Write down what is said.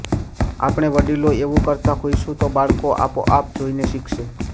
આપણે વડીલો એવું કરતા હોઈશું તો બાળકો આપોઆપ જોઈને શીખશે